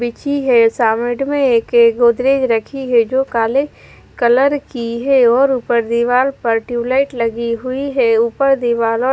गोदरेज रखी है जो काले कलर की है और ऊपर दीवार पर ट्यूबलाइट लगी हुई है ऊपर ।